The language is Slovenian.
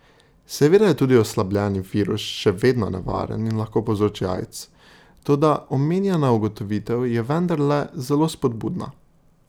Seveda je tudi oslabljeni virus še vedno nevaren in lahko povzroči aids, toda omenjena ugotovitev je vendarle zelo spodbudna.